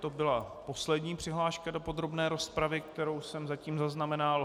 To byla poslední přihláška do podrobné rozpravy, kterou jsem zatím zaznamenal.